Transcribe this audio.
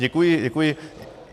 Děkuji, děkuji.